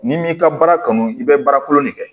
N'i m'i ka baara kanu i bɛ baara kolon de kɛ